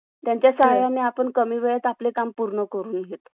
त्या जे प्राथमिक शिक्षण आहे. त्यापासून ते वंचित राहतात अस मला वाटतं.